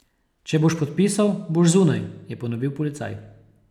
Če boš podpisal, boš zunaj, je ponovil policaj.